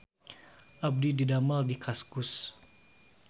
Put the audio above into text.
Abdi didamel di Kaskus